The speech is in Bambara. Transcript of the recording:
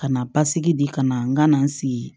Ka na basigi di ka na n ka na n sigi